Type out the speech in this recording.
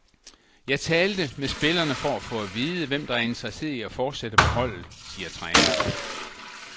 Jeg talte med spillerne for at få at vide, hvem der er interesseret i at fortsætte på holdet, siger træneren.